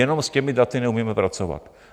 Jenom s těmi daty neumíme pracovat.